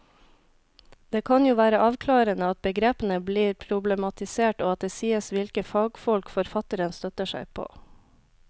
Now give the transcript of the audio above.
Det kan jo være avklarende at begrepene blir problematisert og at det sies hvilke fagfolk forfatteren støtter seg på.